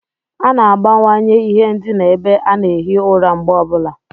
A na-agbanwanye ihe ndina ebe a na-ehi ụra mgbe ọ bụla.